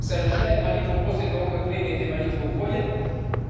совершает молитву после того как время этой молитвы уходит